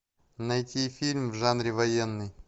найти фильм в жанре военный